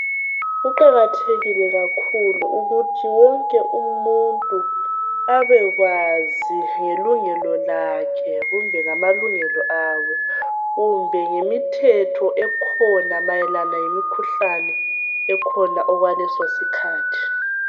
Kuqakathekile ukuthi wonke umuntu abekwazi ngelungelo lakhe kumbe ngamalungelo abo kumbe ngemithetho ekhona mayelana lemikhuhlane ekhona okwaleso sikhathi.